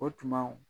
O tuma